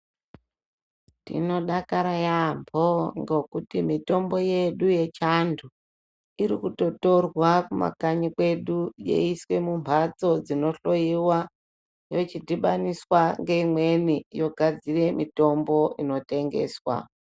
Tinodakara yaambo ngekuti mitombo yedu yechiantu irikutotorwa kumakanyi kwedu yeiswe mumbatso dzinohloyiwa yochidhibaniswa ngeimweni yogadzire inotengeswa.